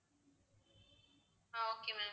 ah okay ma'am